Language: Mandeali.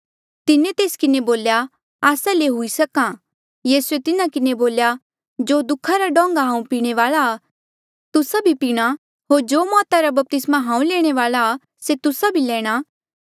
तिन्हें तेस किन्हें बोल्या आस्सा ले हुई सक्हा यीसूए तिन्हा किन्हें बोल्या जो दुखा रा डोंगा हांऊँ पीणे वाल्आ आ तुस्सा भी पीणा होर जो मौता रा बपतिस्मा हांऊँ लैणे वाल्आ आ से तुस्सा भी लैणा